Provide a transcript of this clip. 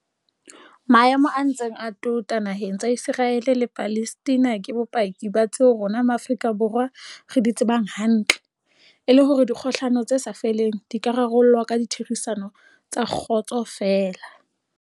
Maemo a ntseng a tota na heng tsa Iseraele le Palestina ke bopaki ba tseo rona Ma afrika Borwa re di tsebang hantle, e leng hore dikgohlano tse sa feleng di ka rarollwa ka ditherisano tsa kgotso feela.